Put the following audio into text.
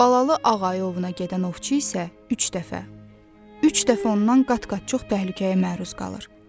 Balalı ağ ayı ovuna gedən ovçu isə üç dəfə, üç dəfə ondan qat-qat çox təhlükəyə məruz qalır.